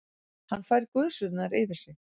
Hann fær gusurnar yfir sig.